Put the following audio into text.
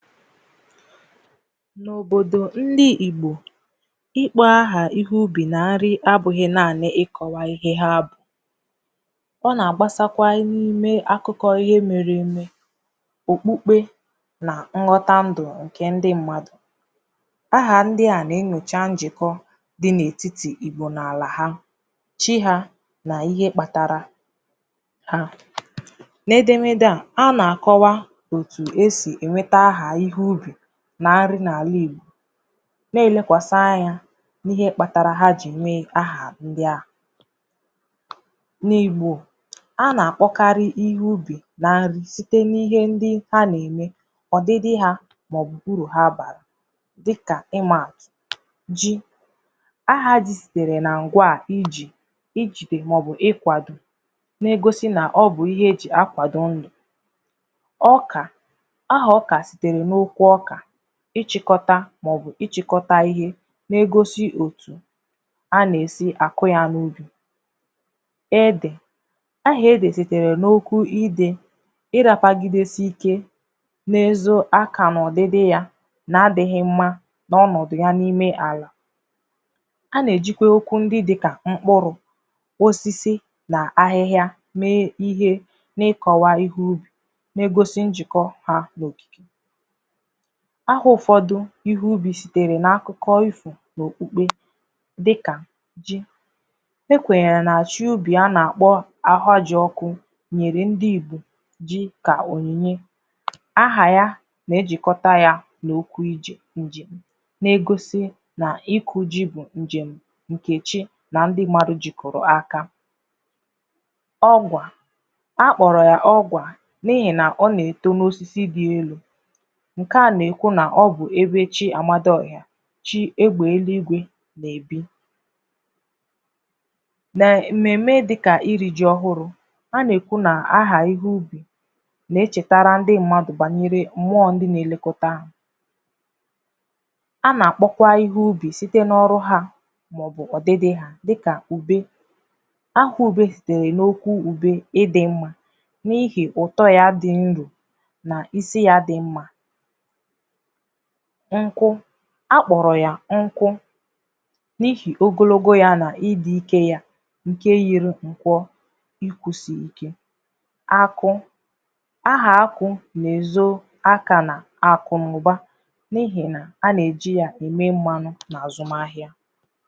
N’òbodò ndị Igbò ịkpọ aha ihe ubì na arị̀ abụghị̀ naanị̀ ịkọwà ihe ha bụ̀ ọ na-agbasakwà n’ime akọkọ̀ ihe mere emè okpukpe na nghọtà ndụ̀ nke ndị mmadụ̀ ahà ndị à na-enyochà njịkọ̀ dị n’etiti Igbò na alà ha chi ha n’ihe kpatarà ha n’edemede à ha na-akọwà otù esì enwetà ahà ihe ubì n’arụ̀ n’alà Igbò na-elekwasà anyà n’ihe kpatarà ha ji nwe ahà ndị ahụ̀ n’Igbò a na-akpọkarị̀ ihe ubì na nrì sitè n’ihe ndị ha na-emè ọdịdị ha maọ̀bụ̀ uru ha barà dịkà ị ma ji aha ji nyere na ngwà iji ijidè maọ̀bụ̀ ̣kwadò na-egosi nà ọ bụ ihe eji akwadò ndụ̀ ọkà ahà ọkà sitere n’okwù ọkà ịchịkọtà maọ̀bụ̀ ịchịkọtà ihe na-egosi o dụ̀ a na-esi akụ̀ ya n’ubì edè aha ede sitere n’okwù idè ịratagidesi ike na-ezù aka n’ọdịdị yà na-adighị̀ mmà n’ọnọdụ̀ ya n’ime alà a na-ejikwarà okwù ndị dịkà m̄kpụrụ̀ osisi ahịhà mee ihe n’ịkọwà ihe ubì na-egosi njịkọ̀ ha nọ̀ ahà ụfọdụ̀ ihe ubì sitere n’akụkọ̀ ifò n’okpukpe dịkà ji ekwenyere na chi ubì a na-akpọ̀ ahajịọkụ̀ nyere ndi Igbò ji ka onyinyè aha yà na-ejikọta yà n’okwu ije njem na-egosi n’ịkụ ji bụ̀ njem nke chi na ndị mmadụ̀ jikorò akà ọgwà akpọrọ̀ ọgwà n’ihi nà ọ na-eto n’osisi dị elù nke à na-ekwu na ọ bụ ebe chi amadịọhà chi egbe elu igwe na-ebì ma mmeme dịkà iri ji ọhụrụ̀ a na-ekwù nà ahà ihe ubì na-echetara ndị mmadụ̀ banyere mmụọ ndị na-elekotà a na-akpọkwà ihe ubì sitē n’ọrụ̀ ha maọ̀bụ̀ ọdịdị ha dịkà ube aha ube dirì n’okwù ube ịdị mmà n’ihi ụtọ ya dị ndụ̀ n’isi ya dịmmà nkụ a kpọrọ̀ yà nkụ n’ihi ogologo ya na ịdị ike yà nke yiri nkwọ̀ ikwusi ike akọ ahà akụ na-ezo akanà akụ na ụbà n’ihi nà a na-eji yà eme mmanụ̀ na azụma ahịà